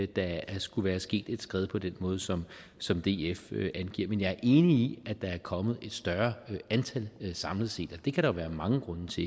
der skulle være sket et skred på den måde som som df angiver men jeg er enig i at der er kommet et større antal samlet set og det kan der være mange grunde til